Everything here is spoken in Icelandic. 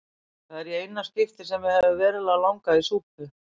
Það er í eina skiptið sem mig hefur verulega langað í súpu.